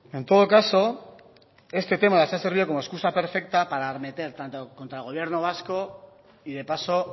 en todo caso este tema les ha servido como excusa perfecta para arremeter tanto contra el gobierno vasco y de paso